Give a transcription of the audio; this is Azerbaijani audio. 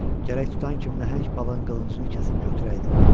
Gərək tutan kimi nəhəng balığın qılıncını kəsib götürəydim.